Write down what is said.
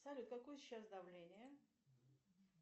салют какое сейчас давление